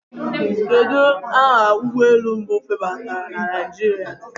Kedụ aha ụgbọelu mbụ febatara na Naijiria?